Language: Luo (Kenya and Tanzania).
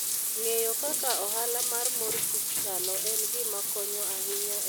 Ng'eyo kaka ohala mar mor kich chalo en gima konyo ahinya e dongruok mar ohala.